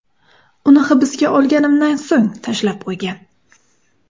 Uni hibsga olinganimdan so‘ng tashlab qo‘ygan.